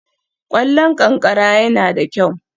Ƙwallon ƙanƙara yana da kyau